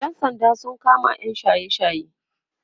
ƴan sanda sun kama yam shaye shaye